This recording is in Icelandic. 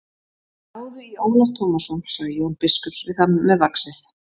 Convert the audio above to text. Náðu í Ólaf Tómasson, sagði Jón biskup við þann með vaxið.